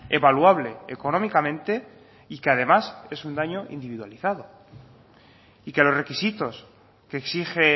evaluable económicamente y que además es un daño individualizado y que los requisitos que exige